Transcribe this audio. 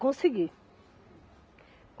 Consegui.